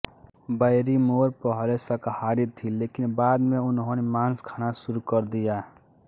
Barrymore पहले शाकाहारी थीं लेकिन बाद में उन्होंने मांस खाना शुरू कर दिया